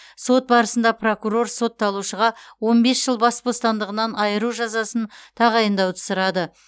сот барысында прокурор сотталушыға он бес жыл бас бостандығынан айыру жазасын тағайындауды сұрады